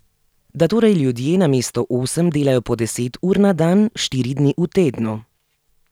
Da torej ljudje namesto osem delajo po deset ur na dan štiri dni v tednu.